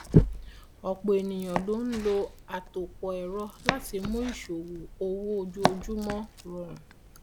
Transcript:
ọpọ ènìyàn ló ń lo àtòpọ ẹrọ láti mú ìṣòwò owó ojoojúmọ rọrùn